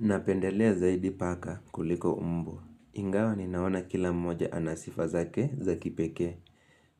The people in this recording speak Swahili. Napendelea zaidi paka kuliko mbwa. Ingawa ninaona kila mmoja ana sifa zake za kipekee.